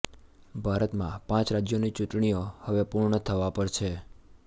ભારતમાં પાંચ રાજ્યોની ચૂટણીઓં હવે પૂર્ણ થવા પર છે